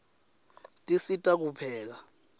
tisisita kupheka